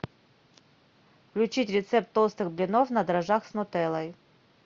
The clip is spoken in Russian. включить рецепт толстых блинов на дрожжах с нутеллой